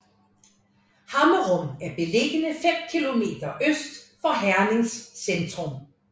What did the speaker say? Hammerum er beliggende 5 kilometer øst for Hernings centrum